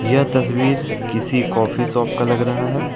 यह तस्वीर किसी कॉफी शॉप का लग रहा है।